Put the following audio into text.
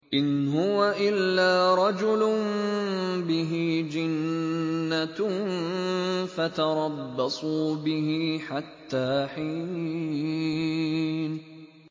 إِنْ هُوَ إِلَّا رَجُلٌ بِهِ جِنَّةٌ فَتَرَبَّصُوا بِهِ حَتَّىٰ حِينٍ